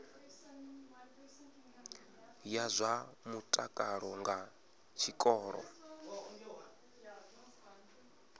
ya zwa mutakalo nga tshikolo